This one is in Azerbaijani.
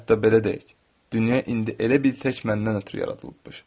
Hətta belə deyək, dünya indi elə bil tək məndən ötrü yaradılıbmış.